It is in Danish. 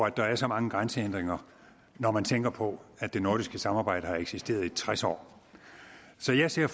at der er så mange grænsehindringer når man tænker på at det nordiske samarbejde har eksisteret i tres år så jeg ser